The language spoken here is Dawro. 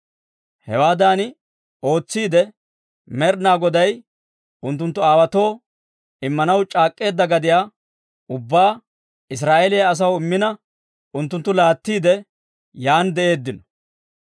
Hewaadan ootsiide, Med'ina Goday unttunttu aawaatoo Immanaw c'aak'k'eedda gadiyaa ubbaa Israa'eeliyaa asaw immina unttunttu laattiide, yaan de'eeddino.